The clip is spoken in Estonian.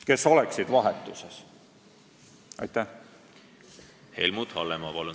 Helmut Hallemaa, palun!